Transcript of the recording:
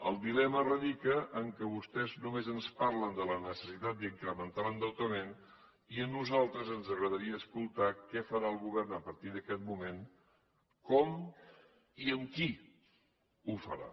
el dilema radica en el fet que vostès només ens parlen de la necessitat d’incrementar l’endeutament i a nosaltres ens agradaria escoltar què farà el govern a partir d’aquest moment com i amb qui ho farà